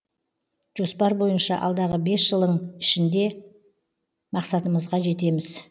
жоспар бойынша алдағы бес жылың ішінде мақсатымызға жетеміз